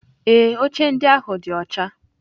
Ee, oche ndị ahụ dị ọcha.